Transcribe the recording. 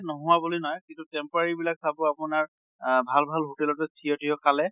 নহোৱা বুলি নহয়, কিন্তু temporary বিলাক চাব আপোনাৰ আহ ভাল ভাল hotel তে থিয় থিয় খালে